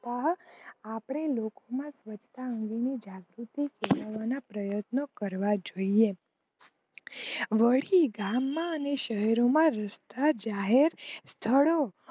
પણ આપડે લોકો માં સ્વચ્છતા અંગે નું જાગૃતિ કેળવવા ના પ્રયતનો કરવા જોઈયે. વળી ગામ માં શહેરો માં રસ્તા જાહેર સ્થળો